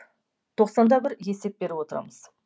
тоқсанда бір есеп беріп отырамыз